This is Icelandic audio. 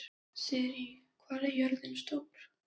Sirrí, hvað er jörðin stór?